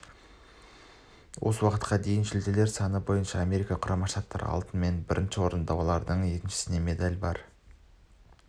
осы уақытқа дейінгі жүлделер саны бойынша америка құрама штаттары алтынмен бірінші орында олардың еншісінде медаль бар